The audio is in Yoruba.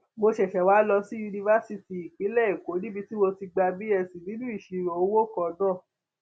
mo ṣẹṣẹ wáá lọ sí yunifásitì ìpínlẹ èkó níbi tí mo ti gba bsc nínú ìṣirò owó kan náà